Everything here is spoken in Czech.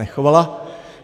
Nechovala.